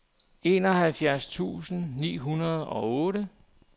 enoghalvfjerds tusind ni hundrede og otte